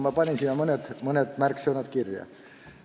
Ma panin mõned märksõnad kirja.